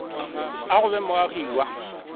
a go ba moagi wa